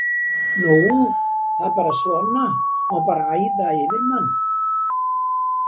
Nú það er bara svona, á bara að æða yfir mann?